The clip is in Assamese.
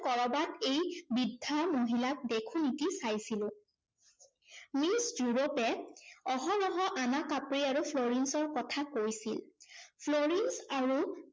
কৰবাত এই বৃদ্ধা মহিলাক দেখো নেকি চাইছিলো৷ মিছ ড্য়ুৰপে অহৰহ আনা কাপ্ৰি আৰু ফ্লৰিন্সৰ কথা কৈছিল। ফ্লৰিন্স আৰু